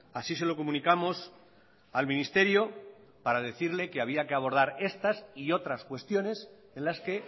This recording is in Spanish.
así se lo comunicamos al ministerio para decirle que había que abordar estas y otras cuestiones en las que